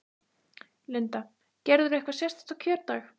Linda: Gerirðu eitthvað sérstakt á kjördag?